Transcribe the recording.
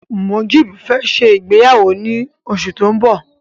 Mujeeb fẹ́ ṣe ìgbéyàwó lóṣù tó ń bọ̀.